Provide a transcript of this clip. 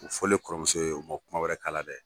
o fɔlen kɔrɔmuso ye u ma kuma wɛrɛkalala dɛ